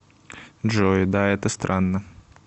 джой да это странно